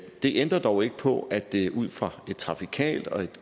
det ændrer dog ikke på at det ud fra et trafikalt og